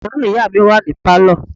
Àwòrán ìyá mi wà ní Pálọ̀.